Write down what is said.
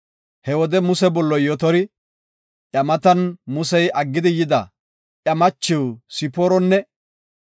He wode Muse bolloy Yotori, iya matan Musey aggidi bida iya machiw Sipooronne,